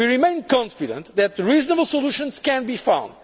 We remain confident that reasonable solutions can be found.